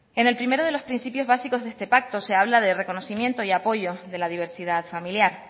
en el primero de los principios básicos de este pacto se habla de reconocimiento y apoyo de la diversidad familiar